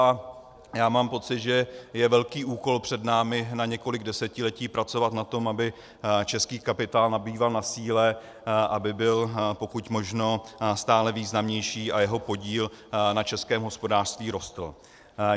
A já mám pocit, že je velký úkol před námi na několik desetiletí pracovat na tom, aby český kapitál nabýval na síle, aby byl pokud možno stále významnější a jeho podíl na českém hospodářství rostl.